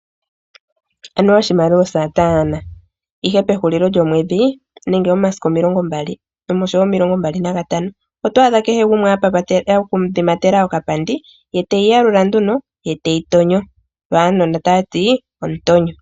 Anuwa oshimaliwa osataana, ihe pehulilo lyomwedhi nenge momasiku omilongo mbali nosho woo omilongo mbali nantano otwaadha kehe gumwe adhimatela okapandi kiimaliwa te yi yalula ye te yi tonyo wo uunona tawuti omutonyo.